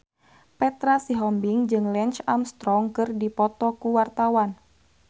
Petra Sihombing jeung Lance Armstrong keur dipoto ku wartawan